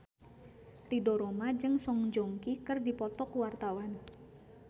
Ridho Roma jeung Song Joong Ki keur dipoto ku wartawan